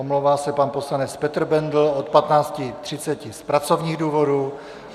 Omlouvá se pan poslanec Petr Bendl od 15.30 z pracovních důvodů.